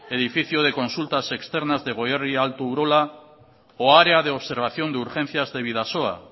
edificio de consultas externas de goierri alto urola o área de observación de urgencias de bidasoa